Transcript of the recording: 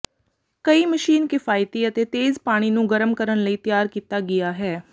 ਕਈ ਮਸ਼ੀਨ ਕਿਫ਼ਾਇਤੀ ਅਤੇ ਤੇਜ਼ ਪਾਣੀ ਨੂੰ ਗਰਮ ਕਰਨ ਲਈ ਤਿਆਰ ਕੀਤਾ ਗਿਆ ਹੈ